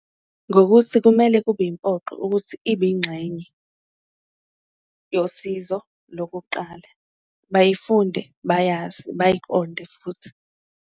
Ngokuthi kumele kube impoqo ukuthi ibe ingxenye yosizo lokuqala, bayifunde bayazi, bayiqonde futhi.